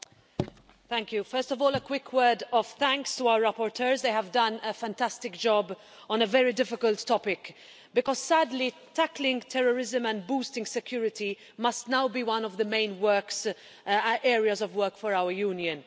Mr President, first of all a quick word of thanks to our rapporteurs they have done a fantastic job on a very difficult topic, because sadly tackling terrorism and boosting security must now be one of the main areas of work for our Union.